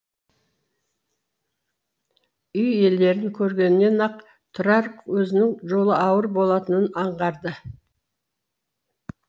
үй иелерін көргеннен ақ тұрар өзінің жолы ауыр болатынын аңғарды